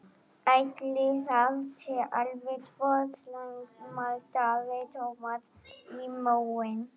Ætli það sé alveg svo slæmt maldaði Thomas í móinn.